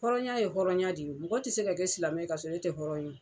Hɔrɔnya ye hɔrɔnya de ye mɔgɔ tɛ se ka kɛ silamɛ ka sɔrɔ ne tɛ hɔrɔn ye